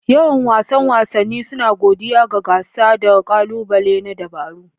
Yan wasan wasanni suna godiya ga gasa da ƙalubale na dabaru.